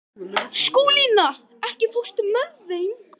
Skúlína, ekki fórstu með þeim?